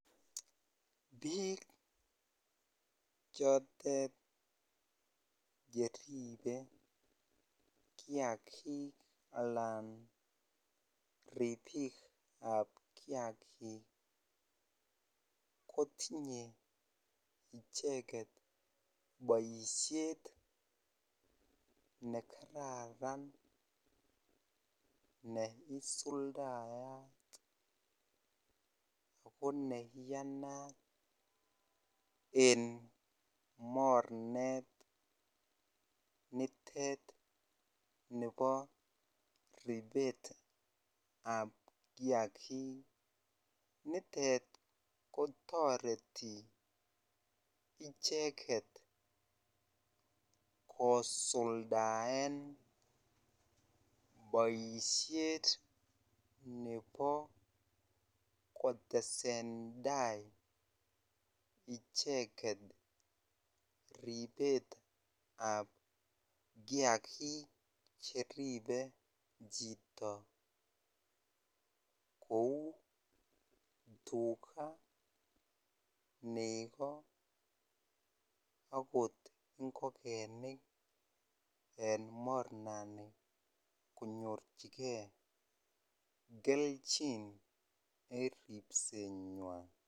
Biik chotet cheribe kiagik alan riibikab kiagik kotinye icheket boisiet nekararan neisuldayat ako neiyanat en mornet nitet nebo riibetab kiagik nitet kotoret icheket kosuldaen boisiet nebo kotesen tai icheket riibetab kiagik cheribee chito kou Tukaa, Negoo akot ingokenik en mornani konyorchike kelchin en ribsenywan.